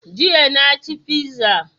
Jiya na ci fiza